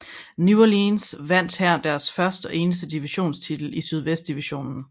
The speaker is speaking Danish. New Orleans vandt her deres først og eneste division titel i Sydvest divisionen